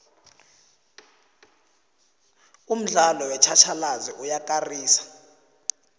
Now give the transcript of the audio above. umdlalo wetjhatjhalazi uyakarisa